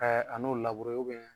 Ɛɛ a n'o